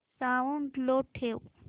sound लो ठेव